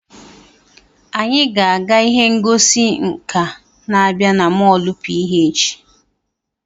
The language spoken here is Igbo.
Anyị ga-aga ihe ngosi nka na-abịa na molu PH.